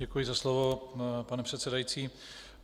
Děkuji za slovo, pane předsedající.